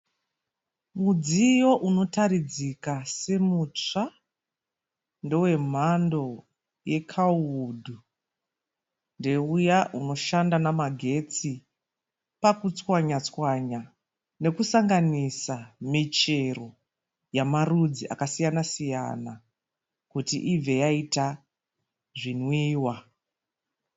Mudziyo unoratidzika semutsva. Ndewe mhando yeKawuwood. Ndeuya unoshanda namagetsi pakutswanya tswanya nekusanganisa michero yamarudzi akasiyana siyana kuti ibve yaita zvinwiwa.